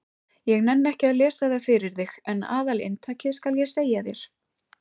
Ég nenni ekki að lesa það fyrir þig en aðalinntakið skal ég segja þér.